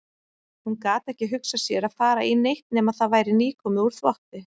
Hún gat ekki hugsað sér að fara í neitt nema það væri nýkomið úr þvotti.